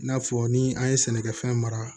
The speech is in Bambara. I n'a fɔ ni an ye sɛnɛkɛfɛn mara